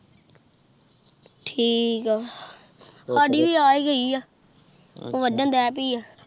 ਠੀਕ ਆ ਸਾਡੀ ਵੀ ਆ ਏ ਗਯੀ ਆ ਵਾਦਨ ਦੇ ਪਾਈ ਆ